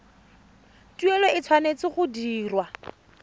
tuelo e tshwanetse go dirwa